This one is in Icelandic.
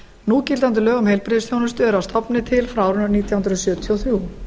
núgildandi lög um heilbrigðisþjónustu eru að stofni til frá árinu nítján hundruð sjötíu og þrjú